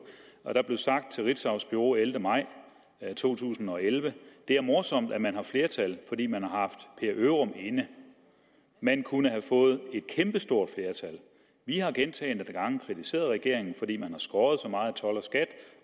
og der blev sagt til ritzaus bureau den ellevte maj 2011 det er morsomt at man har flertal fordi man har haft per ørum inde man kunne have fået kæmpestort flertal vi har gentagne gange kritiseret regeringen fordi man har skåret så meget i told skat